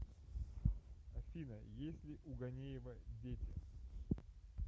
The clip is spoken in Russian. афина есть ли у ганеева дети